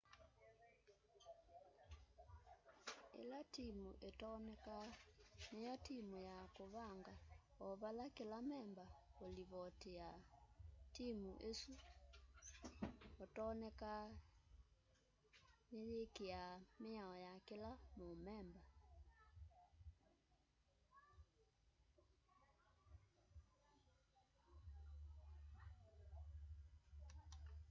ila timu itonekaa niyo timu ya kuvanga o vala kila memba ulivotiaa timu isu otonekaa niyikiaa miao ya kila mumemba